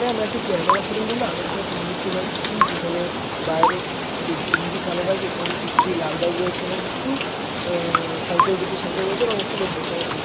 আমরা একটি camera showroom কিংবা আদার্স কোনো শোরুম দেখতে পাচ্ছি যেখানে বাইরে তিন-- তিনটি কালো বাইক এবং একটি লাল বাইক রয়েছে এবং কিছু আহ সাইকেল দুটি সাইকেল রয়েছে এবং একটি লোক বসে রয়েছে।